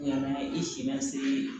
I si ma se